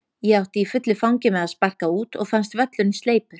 Ég átti í fullu fangi með að sparka út og fannst völlurinn sleipur.